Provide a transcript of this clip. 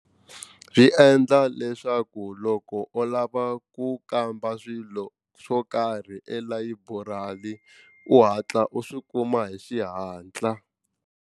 Swi endla leswaku loko u lava ku kamba swilo swo karhi elayiburari u hatla u swi kuma hi xihatla.